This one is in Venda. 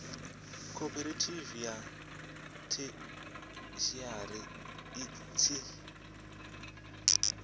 khophorethivi ya theshiari i tshi